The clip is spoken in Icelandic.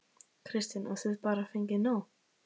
Kristinn: Og þið bara fengið nóg?